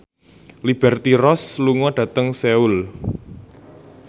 Liberty Ross lunga dhateng Seoul